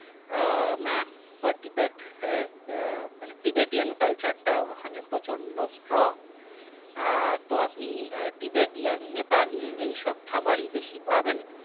আহ map per tibet এর আহ মানে tibetian culture টা ওখানে প্রচন্ড strong আহ তো আপনি আহ তো আপনি তিবেতিয়ান নেপালি এইসব খাবারই বেশি পাবেন